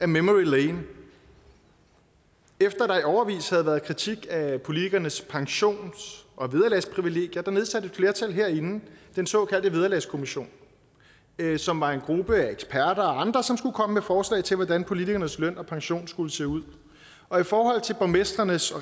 memory lane efter at årevis havde været kritik af politikernes pensions og vederlagsprivilegier nedsatte et flertal herinde den såkaldte vederlagskommissionen som var en gruppe af eksperter og andre som skulle komme med forslag til hvordan politikernes løn og pension skulle se ud og i forhold til borgmestrenes og